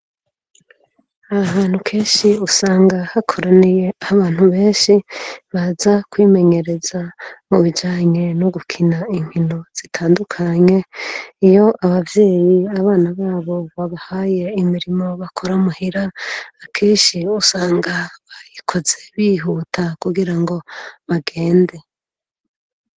Aha hantu kenshi usanga hakoraniyeho abantu benshi baza kwimenyereza mubijanye n'ugukina inkino zitandukanye. Iyo abavyeyi abana babo babahaye imirimo bakora muhira akenshi usanga bayikoze bihuta kugira ngo bagende.